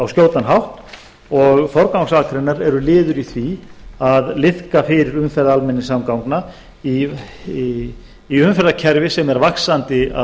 skjótan hátt og forgangsakreinar eru liður í því að liðka fyrir umferð almenningssamgangna í umferðarkerfi sem er vaxandi að